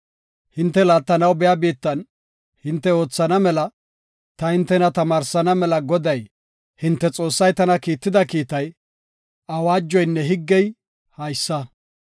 Hinte laattanaw biya biittan hinte oothana mela ta hintena tamaarsana mela Goday, hinte Xoossay tana kiitida kiitay, awaajoynne higgey haysa.